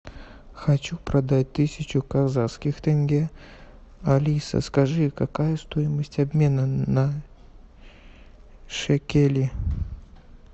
хочу продать тысячу казахских тенге алиса скажи какая стоимость обмена на шекели